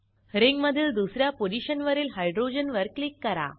रिंगमधील दुस या पोझिशनवरील हायड्रोजन वर क्लिक करा